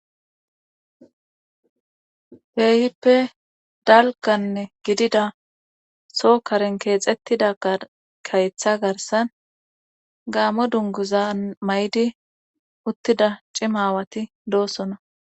heehippe dalganne gidida sookaren keexettida gakayetha garsan gaamo dunguza may7di uttida cimawati doosona